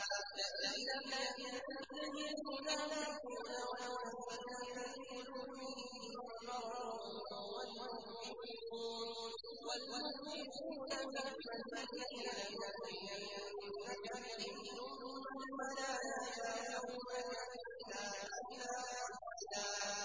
۞ لَّئِن لَّمْ يَنتَهِ الْمُنَافِقُونَ وَالَّذِينَ فِي قُلُوبِهِم مَّرَضٌ وَالْمُرْجِفُونَ فِي الْمَدِينَةِ لَنُغْرِيَنَّكَ بِهِمْ ثُمَّ لَا يُجَاوِرُونَكَ فِيهَا إِلَّا قَلِيلًا